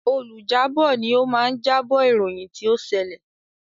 Olùjábọ̀ ni o máa ń jábọ̀ ìròyìn tí o ṣẹlẹ̀.